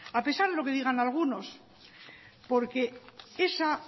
a pesar de lo que digan algunos porque esa